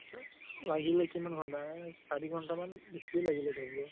লাগিলে কিমান ঘন্টা আহ চাৰি ঘন্টা মান বেছিয়ে লাগিলে ধৰি লোৱা